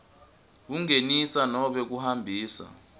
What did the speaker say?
kungenisa nobe kuhambisa